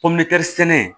sɛnɛ